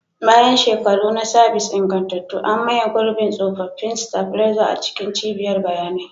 Bayan shekaru na sabis ingantattu, an maye gurbin tsofaffin stabilizer a cikin cibiyar bayanai.